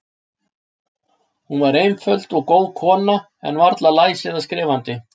Hún var einföld og góð kona, en varla læs eða skrifandi.